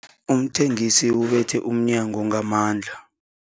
Umthengisi ubethe umnyango ngamandla.